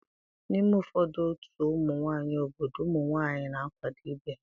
N'ime ụfọdụ otu ụmụ nwanyị obodo ụmụ nwanyị na-akwado ibe ha.